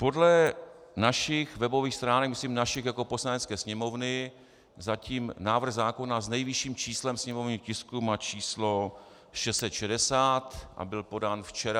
Podle našich webových stránek, myslím našich jako Poslanecké sněmovny, zatím návrh zákona s nejvyšším číslem sněmovního tisku má číslo 660 a byl podán včera.